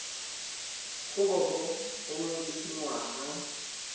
go bo o le dingwaga